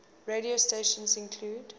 radio stations include